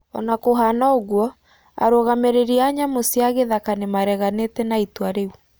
Ona kũhana ũguo, arũgamĩrĩri a nyamũ cia gĩthaka nĩmareganĩte na itua riũ